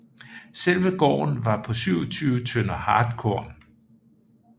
Selve gården var på 27 tønder hartkorn